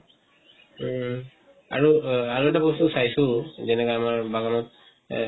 উম আৰু অহ আৰু এটা বস্তু চাইছো যেনেকা আমাৰ বাগানত এহ